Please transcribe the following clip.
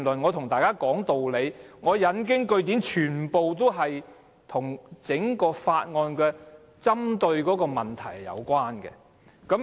我和大家講道理，引經據典，全都與《條例草案》針對的問題有關。